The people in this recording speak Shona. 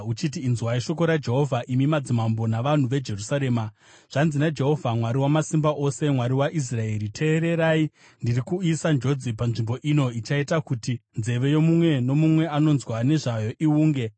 uchiti, ‘Inzwai shoko raJehovha, imi madzimambo navanhu veJerusarema. Zvanzi naJehovha Mwari Wamasimba Ose, Mwari waIsraeri: Teererai, ndiri kuuyisa njodzi panzvimbo ino ichaita kuti nzeve yomumwe nomumwe anonzwa nezvayo iwunge.